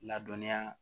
Ladɔnya